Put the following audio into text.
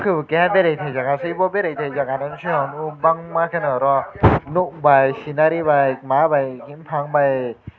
keha berei tei jaga aw berei jaaga enke kwbangma ke oro look by secneary by maa by bufang by.